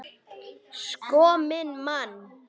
Sko minn mann!